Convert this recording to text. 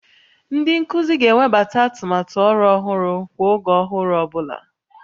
Ndị nkuzi ga-ewebata atụmatụ ọrụ ọhụrụ kwa oge ọhụrụ ọ bụla